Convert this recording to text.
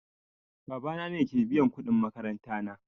Baba na ke biyan kuɗin makaranta na